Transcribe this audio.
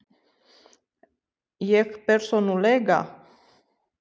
Ég persónulega?